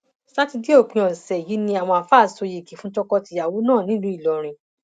ṣàtidé òpin ọsẹ yìí ni àwọn àáfàá sọ yìgì fún tọkọtìyàwó náà nílùú ìlọrin